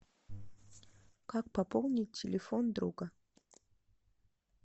как пополнить телефон друга